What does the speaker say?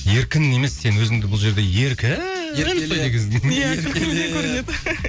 еркін емес сен өзіңді бұл жерде еркін ұстайды екенсің